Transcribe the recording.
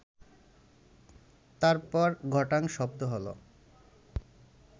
তারপর ঘটাং শব্দ হলো